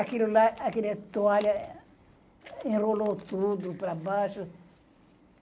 Aquilo lá, aquela toalha enrolou tudo para baixo.